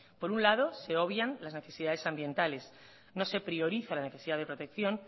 por un lado se obvian las adversidades ambientales no se prioriza la necesidad de protección